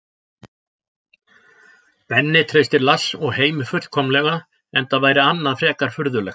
Benni treystir Lars og Heimi fullkomlega enda væri annað frekar furðulegt.